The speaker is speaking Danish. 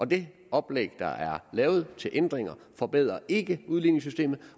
det oplæg der er lavet til ændringer forbedrer ikke udligningssystemet